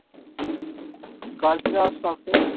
Girl's এ যাওয়ার শখ তাইতো?